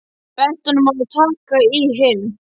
Benti honum á að taka í hinn.